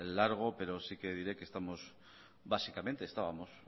largo pero sí que diré que básicamente estábamos